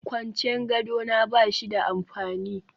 Kwancen gado na ba shi da amfani